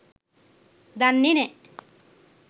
දන්නේ නැ.